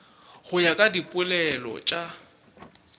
go ya ka dipoelo tša